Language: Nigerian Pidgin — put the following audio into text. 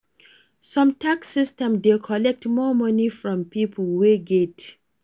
some tax system dey collect more money from pipo wey get